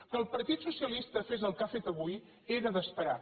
que el partit socialista fes el que ha fet avui era d’esperar